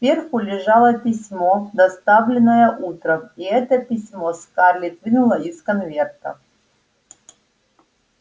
сверху лежало письмо доставленное утром и это письмо скарлетт вынула из конверта